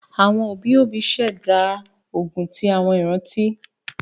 Àwọn òbí òbí ṣẹ̀dá ogún ti àwọn ìrántí